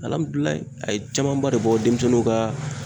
Alamidulayi a ye camanba de bɔ denmisɛnninw kaa